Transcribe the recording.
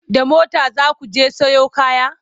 da mota zaku je Sayo kaya?